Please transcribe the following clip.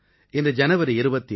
இன்று ஜனவரி 26